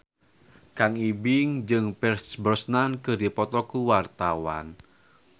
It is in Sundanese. Kang Ibing jeung Pierce Brosnan keur dipoto ku wartawan